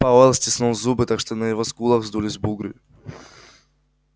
пауэлл стиснул зубы так что на его скулах вздулись бугры